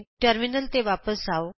terminal ਤੇ ਵਾਪਸ ਆਉ